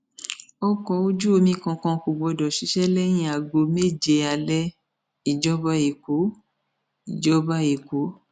ọkọ ojú omi kankan kò gbọdọ ṣiṣẹ lẹyìn aago méje alẹ ìjọba ẹkọ ìjọba ẹkọ